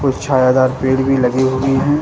कुछ छायादार पेड़ भी लगे हुई हैं।